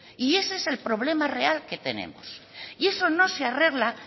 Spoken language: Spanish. y ese es el problema real que tenemos y eso no se arregla